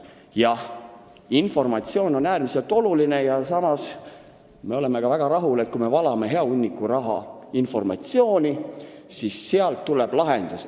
Jah, informatsioon on äärmiselt oluline ja me oleme väga rahul, kui me valame hea hunniku raha informatsiooni, lootes, et sealt tuleb ka lahendus.